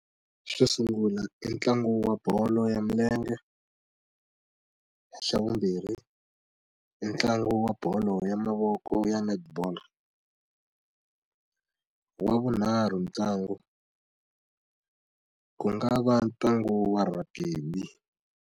Xo sungula i ntlangu wa bolo ya milenge xa vumbirhi i ntlangu wa bolo ya mavoko ya netball wa vunharhu ntlangu ku nga va ntlangu wa rugby.